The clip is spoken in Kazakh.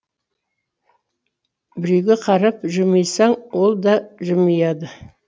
біреуге қарап жымисаң ол да жымияды